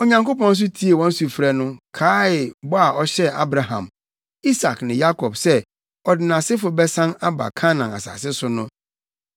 Onyankopɔn nso tiee wɔn sufrɛ no, kaee bɔ a ɔhyɛɛ Abraham, Isak ne Yakob sɛ ɔde nʼasefo bɛsan aba Kanaan asase so no.